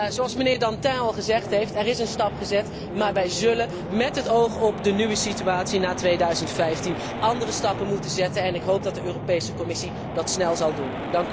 Zoals mijnheer Dantin al gezegd heeft, er is een stap gezet, maar wij zullen met het oog op de nieuwe situatie na 2015 andere stappen moeten zetten en ik hoop dat de Europese Commissie dat snel zal doen.